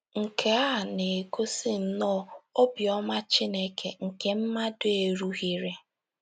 Nke a a na - egosi nnọọ “ obiọma Chineke nke mmadụ erughịrị ”